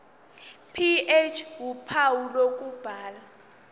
ph uphawu lokubhala